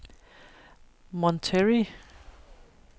Monterrey